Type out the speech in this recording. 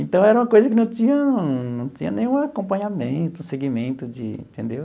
Então era uma coisa que não tinha não tinha nenhum acompanhamento, seguimento de entendeu?